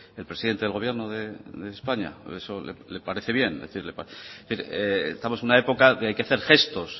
el presidente del gobierno de españa eso le parece bien estamos en una época que hay que hacer gestos